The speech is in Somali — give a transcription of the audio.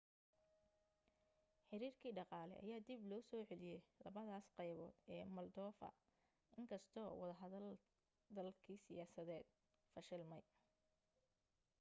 xiriirkii dhaqaale ayaa dib loo soo celiyay labadaas qaybood ee moldova inkastoo wadahadlkii siyaasadeed fashilmay